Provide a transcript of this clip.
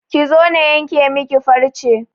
Ki zo na yanke miki farce!